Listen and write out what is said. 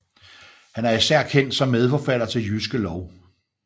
Han er især kendt som medforfatter til Jyske Lov